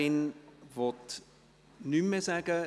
Die Motionärin will nichts mehr sagen.